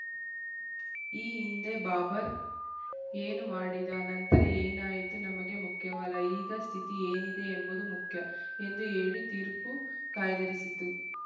ಈ ಹಿಂದೆ ಬಾಬರ್‌ ಏನು ಮಾಡಿದ ನಂತರ ಏನಾಯಿತು ನಮಗೆ ಮುಖ್ಯವಲ್ಲ ಈಗ ಸ್ಥಿತಿ ಏನಿದೆ ಎಂಬುದು ಮುಖ್ಯ ಎಂದು ಹೇಳಿ ತೀರ್ಪು ಕಾಯ್ದಿರಿಸಿತು